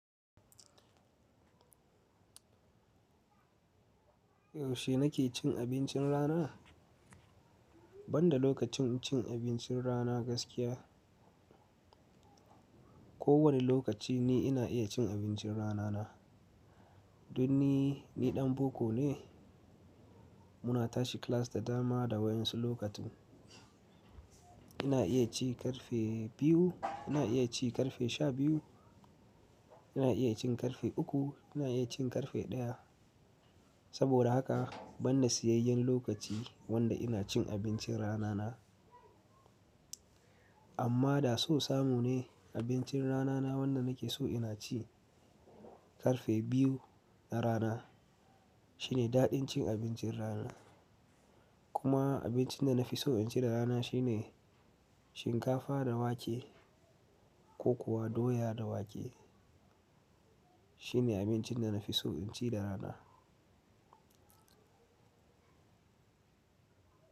Yaushe nake cin abincin rana? Ban da lokacin cin abincin rana gaskiya, kowani lokaci ni ina iya cin abincin ranana. Don ni, ni ɗan boko ne. Muna tashi class da dama da wayan su lokacin. Ina iya ci ƙarfe biyu, ina iya ci ƙarfe sha biyu, ina iya cin ƙarfe uku, ina iya cin ƙarfe ɗaya. Saboda haka ban da siyayyen lokaci wanda ina cin abincin ranana. Amma da so samu ne abincin ranana wanda nake so ina ci ƙarfe biyu na rana. Shine daɗin cin abincin rana. Kuma abincin da na fi so in ci da rana shine shinkafa da wake ko kuwa doya da wake. Shine abincin da na fi so in ci da rana.